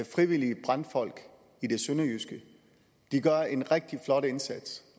frivillige brandfolk i det sønderjyske de gør en rigtig flot indsats